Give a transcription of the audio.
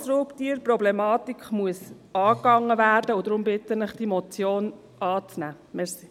Die Grossraubtierproblematik muss angegangen werden, und deshalb bitte ich Sie, diese Motion anzunehmen.